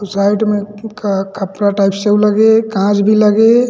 Side में ए फु क खपरा टाइप से लगे हे कांच भी लगे हे।